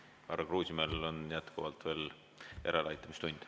Härra Kruusimäel on jätkuvalt veel järeleaitamistund.